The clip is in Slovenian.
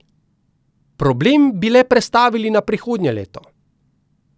Problem bi le prestavili na prihodnje leto.